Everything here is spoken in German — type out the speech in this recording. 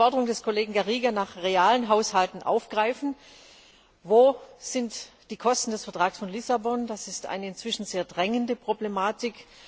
Ich möchte die Forderung des Kollegen Garriga nach realistischen Haushalten aufgreifen. Wo sind die Kosten des Vertrags von Lissabon? Das ist eine inzwischen sehr drängende Problematik.